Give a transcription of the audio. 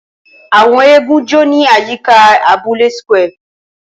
Awọn eégún jó ni ayika abule square